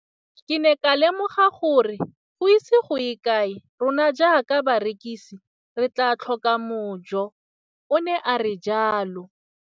Ke ne ka lemoga gore go ise go ye kae rona jaaka barekise re tla tlhoka mojo, o ne a re jalo.